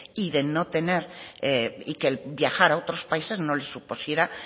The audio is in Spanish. y de no tener y que el viajar a otros países no le supusiera